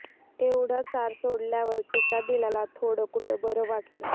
एवढ सार सोडल्यावर तिच्या दिलाला थोड कुठ बर वाटल